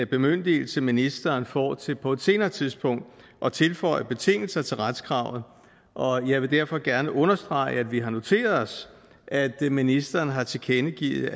bemyndigelse ministeren får til på et senere tidspunkt at tilføje betingelser til retskravet og jeg vil derfor gerne understrege at vi har noteret os at ministeren har tilkendegivet